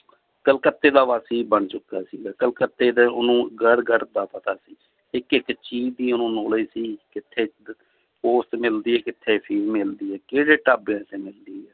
ਕਲਕੱਤੇ ਦਾ ਵਾਸੀ ਬਣ ਚੁਕਾ ਸੀਗਾ l ਕਲਕੱਤੇ ਦੇ ਉਹਨੂੰ ਗੜ੍ਹ ਗੜ੍ਹ ਦਾ ਪਤਾ ਸੀ ਇੱਕ ਇੱਕ ਚੀਜ਼ ਦੀ ਉਹਨੂੰ knowledge ਸੀ ਕਿੱਥੇ ਦ~ ਮਿਲਦੀ ਹੈ ਕਿੱਥੇ ਅਫ਼ੀਮ ਮਿਲਦੀ ਹੈ ਕਿਹੜੇ ਢਾਬਿਆਂ ਤੇ ਮਿਲਦੀ ਹੈ l